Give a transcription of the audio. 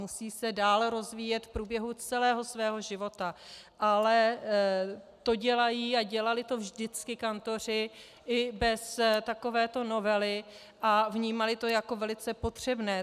Musí se dále rozvíjet v průběhu celého svého života, ale to dělají a dělali to vždycky kantoři i bez takovéto novely a vnímali to jako velice potřebné.